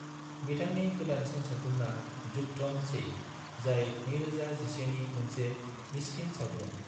बिथांनि गोदानसिन सावथुनआ युद्धम सेई, जाय 2011 नि मोनसे मिस्किन सावथुन।